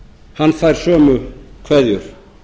hann fær sömu kveðjur